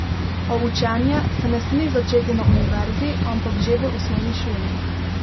A učenje se ne sme začeti na univerzi, ampak že v osnovni šoli.